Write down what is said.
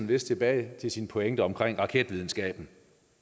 lidt tilbage til sin pointe om raketvidenskaben